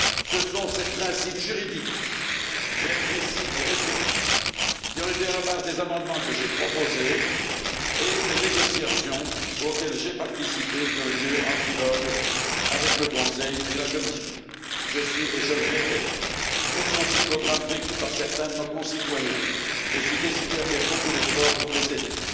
Ce sont ces principes juridiques très précis et restrictifs qui ont été à la base des amendements que j'ai proposés, et des négociations auxquelles j'ai participé, qui ont eu lieu en trilogue avec le Conseil et la Commission. Je suis je le répète très sensible aux drames vécus par certains de nos concitoyens et je suis décidé à faire beaucoup d'efforts pour les aider.